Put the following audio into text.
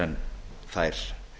en þær